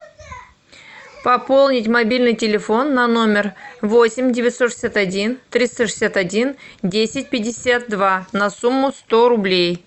пополнить мобильный телефон на номер восемь девятьсот шестьдесят один триста шестьдесят один десять пятьдесят два на сумму сто рублей